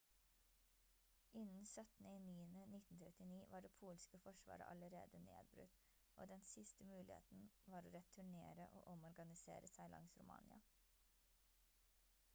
innen 17.09.1939 var det polske forsvaret allerede nedbrutt og den siste muligheten var å returnere og omorganisere seg langs romania